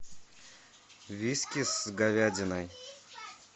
виски с говядиной